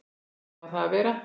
Þannig á það að vera.